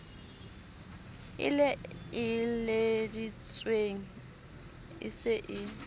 e laeleditsweng e se e